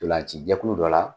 Ntolanci jɛkulu dɔ la.